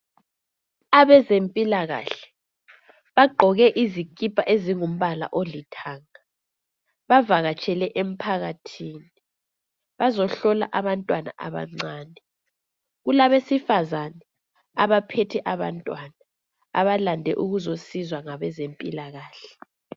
Abezempilakahle bagqoke izikipa ezingumbala olithanga bavakatshele emphakathini bazo hlola abantwana abancane kulabesifazane abaphethe abantwana abalande ukuzoncedwa ngabezempilakahle.